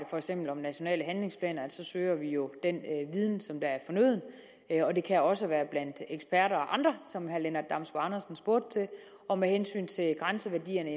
for eksempel nationale handlingsplaner søger vi jo den viden som er fornøden og det kan også være blandt eksperter og andre som herre lennart damsbo andersen spurgte til og med hensyn til grænseværdierne